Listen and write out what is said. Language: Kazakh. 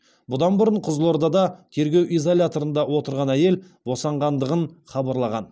бұдан бұрын қызылордада тергеу изоляторында отырған әйел босанғандығын хабарлаған